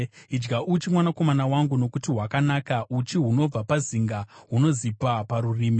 Idya uchi, mwanakomana wangu, nokuti hwakanaka; uchi hunobva pazinga hunozipa parurimi.